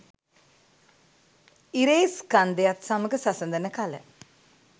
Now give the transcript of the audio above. ඉරේ ස්කන්ධයත් සමඟ සසදන කල